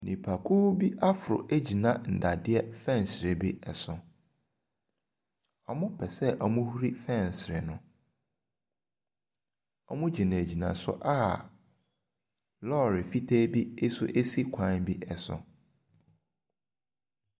Nnipakuo bi aforo egyina nnadeɛ fɛnsere bi so. Wɔpɛ sɛ wɔhuri fɛnsere no. wɔgyinagyina so a lɔri fitaa bi nso esi kwan bi ɛso.